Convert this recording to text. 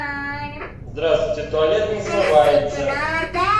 здравствуйте туалет не смывается